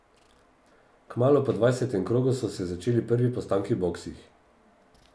Kmalu po dvajsetem krogu so se začeli prvi postanki v boksih.